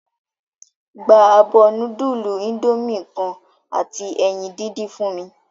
Gba abo nudulu Indomie kan ati eyin didin fun mi!